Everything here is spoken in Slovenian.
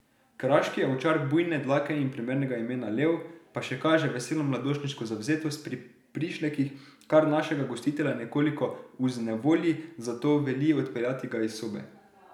Kraški ovčar bujne dlake in primernega imena Lev pa še kaže veselo mladostniško zavzetost pri prišlekih, kar našega gostitelja nekoliko vznejevolji, zato veli odpeljati ga iz sobe.